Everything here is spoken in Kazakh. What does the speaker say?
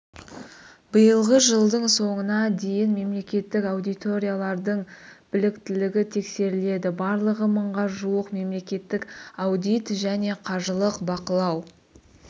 биылғы жылдың соңына дейін мемлекеттік аудиторлардың біліктілігі тексеріледі барлығы мыңға жуық мемлекеттік аудит және қаржылық бақылау